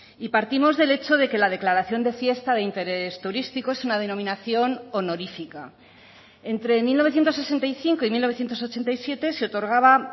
y partimos del hecho de que la declaración de fiesta de interés turístico es una denominación honorifica entre mil novecientos sesenta y cinco y mil novecientos ochenta y siete se otorgaba